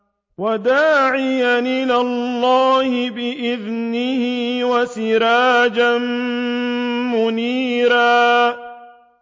وَدَاعِيًا إِلَى اللَّهِ بِإِذْنِهِ وَسِرَاجًا مُّنِيرًا